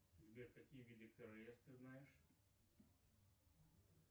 сбер какие виды королевств ты знаешь